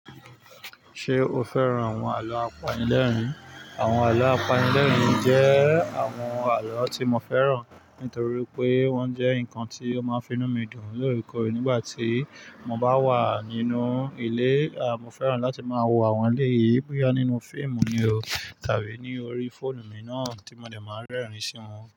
Ṣé o fẹ́ràn àwọn àlọ́ apanilẹ́rìn? Àwọn àlọ́ apanilẹ́rìn jẹ́ àwọn àlọ́ tí mo fẹ́ràn, nítorí pé wọ́n jẹ́ nǹkan tí ó máa ń finú mi dùn lóòrèkóòrè nígbà tí mo bá wà nínú ilé. À, mo fẹ́ràn láti máa wo àwọn elé yìí boya nínú fíìmù ni o tàbí ní orí fóònù mi náà tí mo dẹ̀ máa ń rẹ́rìn-ín sí wọn.